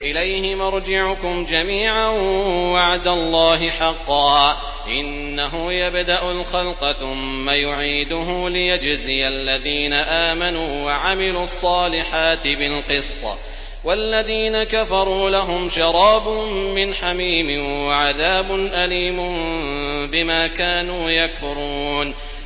إِلَيْهِ مَرْجِعُكُمْ جَمِيعًا ۖ وَعْدَ اللَّهِ حَقًّا ۚ إِنَّهُ يَبْدَأُ الْخَلْقَ ثُمَّ يُعِيدُهُ لِيَجْزِيَ الَّذِينَ آمَنُوا وَعَمِلُوا الصَّالِحَاتِ بِالْقِسْطِ ۚ وَالَّذِينَ كَفَرُوا لَهُمْ شَرَابٌ مِّنْ حَمِيمٍ وَعَذَابٌ أَلِيمٌ بِمَا كَانُوا يَكْفُرُونَ